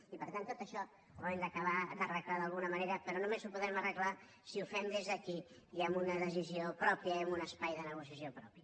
i per tant tot això ho hem d’acabar d’arreglar d’alguna manera però només ho podrem arreglar si ho fem des d’aquí i amb una decisió pròpia i en un espai de negociació propi